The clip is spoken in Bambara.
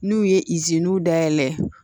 N'u ye dayɛlɛ